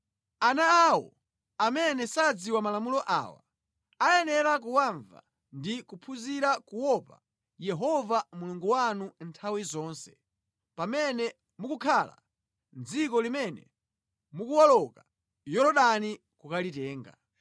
Ana awo amene sadziwa malamulo awa, ayenera kuwamva ndi kuphunzira kuopa Yehova Mulungu wanu nthawi zonse pamene mukukhala mʼdziko limene mukuwoloka Yorodani kukalitenga.”